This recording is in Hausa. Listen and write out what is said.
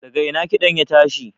daga ina kiɗan ya tashi?